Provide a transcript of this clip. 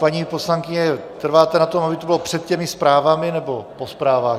Paní poslankyně, trváte na tom, aby to bylo před těmi zprávami, nebo po zprávách?